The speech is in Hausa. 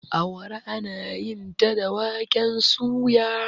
awara ana yinta da waken soya